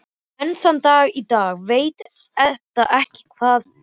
Enn þann dag í dag veit Edda ekki hvað gerðist.